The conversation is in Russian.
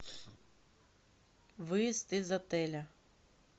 выезд из отеля